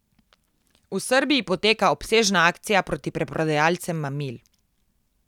V Srbiji poteka obsežna akcija proti preprodajalcem mamil.